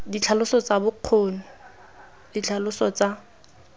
ditlhaloso tsa bokgoni ditlhaloso tsa